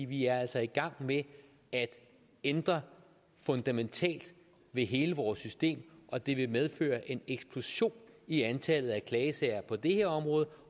vi er altså i gang med at ændre fundamentalt ved hele vores system og det vil medføre en eksplosion i antallet af klagesager på det her område